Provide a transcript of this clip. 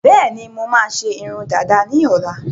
Bẹẹni, mo máa ṣe irun dàda ni ọ̀la